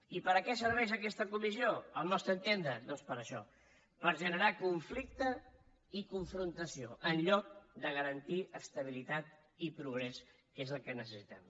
i per a què serveix aquesta comissió al nostre entendre doncs per a això per generar conflicte i confrontació en lloc de garantir estabilitat i progrés que és el que necessitem